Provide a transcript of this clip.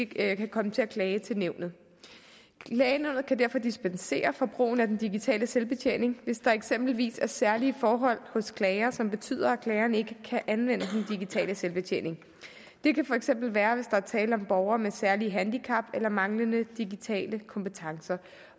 kan komme til at klage til nævnet klagenævnet kan derfor dispensere fra brugen af den digitale selvbetjening hvis der eksempelvis er særlige forhold hos klager som betyder at klageren ikke kan anvende den digitale selvbetjening det kan for eksempel være hvis der er tale om borgere med særlige handicap eller manglende digitale kompetencer